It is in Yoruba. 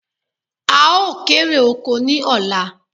Áà ó kéré oko ni ọ̀la